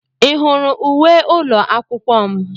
Ị hụrụ uwe ụlọ akwụkwọ m?